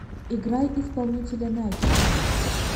играй исполнителя найтвиш